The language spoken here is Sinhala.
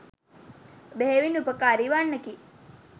බෙහෙවින් උපකාරී වන්නකි.